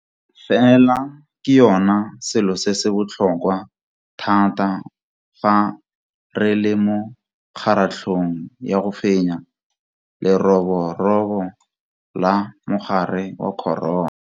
Fela ke yona selo se se botlhokwa thata fa re le mo kgaratlhong ya go fenya leroborobo la mogare wa corona.